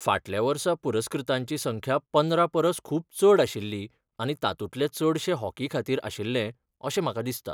फाटल्या वर्सा पुरस्कृतांची संख्या पंदरा परस खूब चड आशिल्ली आनी तातूंतले चडशे हॉकी खातीर आशिल्ले, अशें म्हाका दिसता.